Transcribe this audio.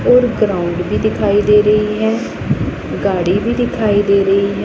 और ग्राउंड भी दिखाई दे रही है गाड़ी भी दिखाई दे रही है।